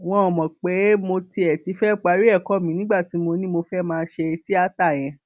wọn mọ pé mo tiẹ ti fẹẹ parí ẹkọ mi nígbà tí mo ní mo fẹẹ máa ṣe tíátá yẹn